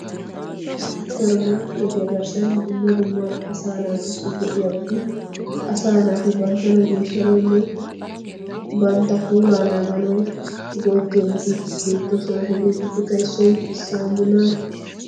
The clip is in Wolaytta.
Supper markeetiya garssan dumma dumma asaa naatussi go"iyaabati asaa naati banttana geeshshanawnne bantta puulaa naaganaw go'ettiyoobati beettoosona. Hegeetuppekka issoy saammunaa.